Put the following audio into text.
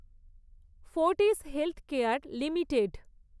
Fortis healthcare limited